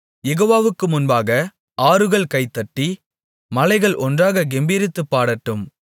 யெகோவாவுக்கு முன்பாக ஆறுகள் கைதட்டி மலைகள் ஒன்றாக கெம்பீரித்துப் பாடட்டும்